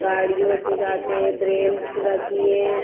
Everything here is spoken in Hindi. गाड़ियों से जाते हैं। ब्रेंच रखी है।